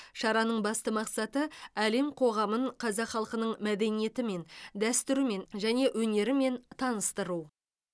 шараның басты мақсаты әлем қоғамын қазақ халқының мәдениеті мен дәстүрі мен және өнерімен таныстыру